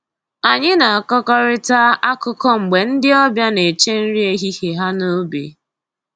Anyị na-akọkarịta akụkọ mgbe ndị ọbịa na-eche nri ehihie ha n'ubi